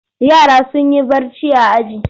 Yara sun yi barci a aji.